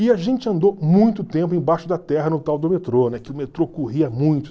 E a gente andou muito tempo embaixo da terra no tal do metrô, né, que o metrô corria muito.